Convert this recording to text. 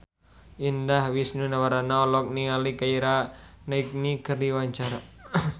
Indah Wisnuwardana olohok ningali Keira Knightley keur diwawancara